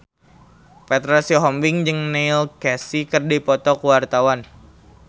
Petra Sihombing jeung Neil Casey keur dipoto ku wartawan